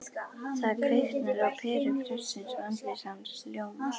Það kviknar á peru prestsins og andlit hans ljómar